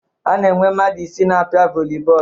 A na-enwe mmadụ isii na-apịa vọli bọọlụ